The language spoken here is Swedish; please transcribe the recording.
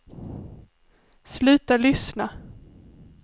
sluta lyssna